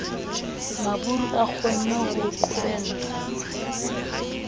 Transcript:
maburu a kgonne ho qobella